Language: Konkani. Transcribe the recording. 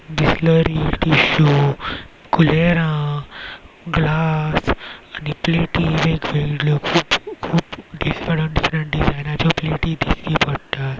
कुलेरा ग्लास आणि प्लेटी खूप डिफरन्ट डिफरन्ट डिजायनाचो प्लेटी दिश्टी पडटा.